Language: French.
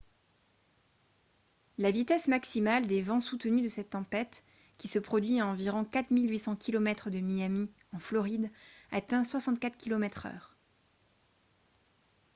la vitesse maximale des vents soutenus de cette tempête qui se produit à environ 4 800 km de miami en floride atteint 64 km/h